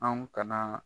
Anw kana